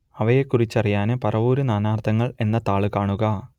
അവയെക്കുറിച്ചറിയാൻ പറവൂർ നാനാർത്ഥങ്ങൾ എന്ന താൾ കാണുക